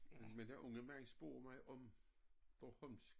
Men den unge mand spurgte mig om bornholmsk